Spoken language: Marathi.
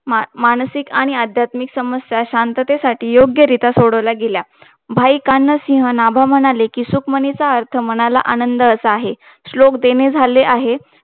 मानसिक आणि अध्यात्मिक समस्याये शांततेसाठी योग्य रित्या सोडवल्या गेल्या भाईकान सिह नभ म्हणाले कि सुकमानीच अर्थ मनाला आनंद असा आहे श्लोक देणे झाले आहे